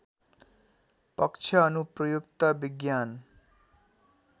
पक्ष अनुप्रयुक्त विज्ञान